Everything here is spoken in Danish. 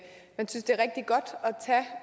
det